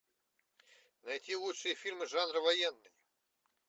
найти лучшие фильмы жанра военный